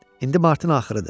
İndi martın axırıdı.